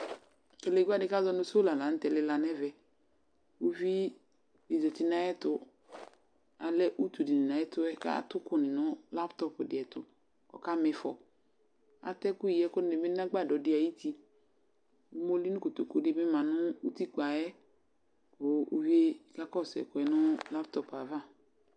Telegbǝ dɩ kazɔ nʋ sula la nʋ tɛ lɩla nɛvɛ Uvi dɩ zati nayɛtʋ ; alɛ utu dɩnɩ nayɛtʋ, katʋ ʋkʋ nɩ nʋ latɔp dɩ ɛtʋ ,ɔka mɩfɔ Atɛ ɛkʋ yi ɛkʋ nɩ bɩ nʋ agbadɔ dɩ ayutiOmoli nʋ kotoku dɩ bɩ ma nʋ utikpǝ yɛ, kʋ uvie kakɔsʋ ɛkʋɛ nʋ laptɔp ava